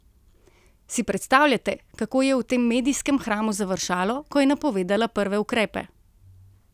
Si predstavljate, kako je v tem medijskem hramu završalo, ko je napovedala prve ukrepe?